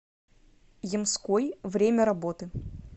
ямской время работы